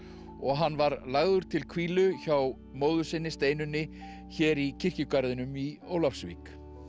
og hann var lagður til hvílu hjá móður sinni Steinunni hér í kirkjugarðinum í Ólafsvík